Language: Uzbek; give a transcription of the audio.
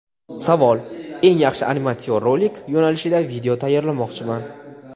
Savol: "Eng yaxshi animatsion rolik" yo‘nalishida video tayyorlamoqchiman.